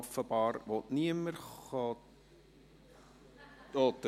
Offenbar will niemand sprechen.